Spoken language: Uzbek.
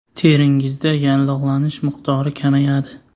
Teringizda yallig‘lanish miqdori kamayadi.